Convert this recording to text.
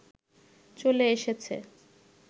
চলে এসেছে